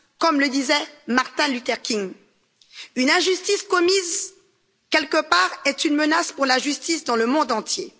Comme le disait Martin Luther King, une injustice commise quelque part est une menace pour la justice dans le monde entier.